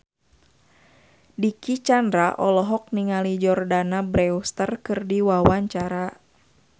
Dicky Chandra olohok ningali Jordana Brewster keur diwawancara